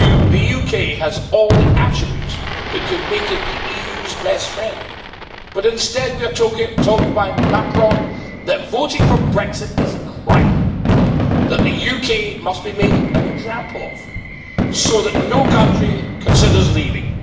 The UK has all the attributes that could make it the EU's best friend, but instead we are told by Macron that voting for Brexit is a crime, that the UK must be made an example of, so that no country considers leaving.